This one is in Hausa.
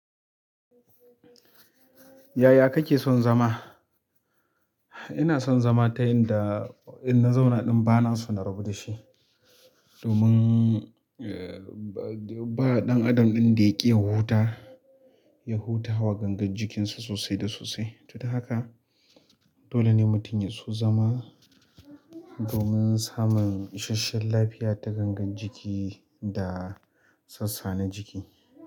Yaya kake son zama? Ina son zama ta inda in na zauna ɗin bana so na rabu da shi. Domin, eh, ba ɗan adam ɗin da ya ki ya huta, ya huta wa gangar jikinsa sosai da sosai. To, don haka dole ne mutum ya so zama domin samun isashen lafiya ta gangar jiki da sassa na jiki.